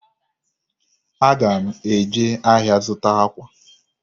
Aga m eje ahịa zụta akwa.